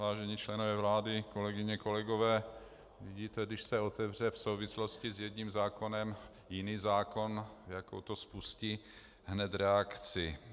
Vážení členové vlády, kolegyně, kolegové, vidíte, když se otevře v souvislosti s jedním zákonem jiný zákon, jakou to spustí hned reakci.